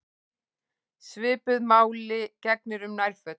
Svipuðu máli gegnir um nærföt.